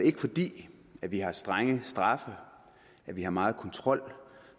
ikke fordi vi har strenge straffe at vi har meget kontrol